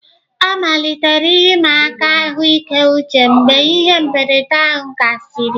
Ọ malitere ihe ịma aka ahụike uche mgbe ihe mberede ahụ gasịrị.